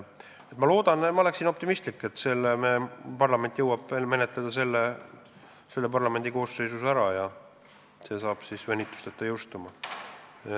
Ma olen optimistlik, et parlament jõuab selle paketi veel selle parlamendikoosseisu ajal ära menetleda ja see saab siis venitusteta jõustuda.